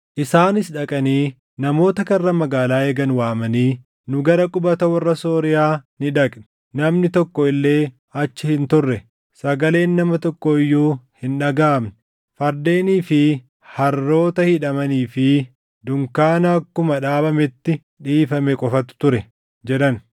Isaanis dhaqanii namoota karra magaalaa eegan waamanii, “Nu gara qubata warra Sooriyaa ni dhaqne; namni tokko illee achi hin turre; sagaleen nama tokkoo iyyuu hin dhagaʼamne. Fardeenii fi harroota hidhamanii fi dunkaana akkuma dhaabametti dhiifame qofatu ture” jedhan.